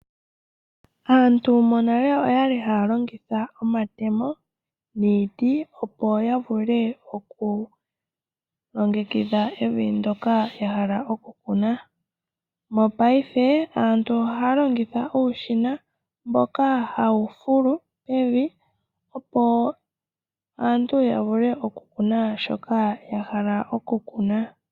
Aantu monale oyali haya longitha omatemo, niiti opo ya vule oku longekidha evi ndyoka ya hala oku kuna. Mongaashingeyi aantu ohaya longitha uushina mboka hawu fulu evi, opo aaantu ya vule oku kuna shoka ya hala oku kuna.